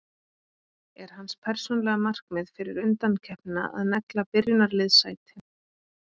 Er hans persónulega markmið fyrir undankeppnina að negla byrjunarliðssæti?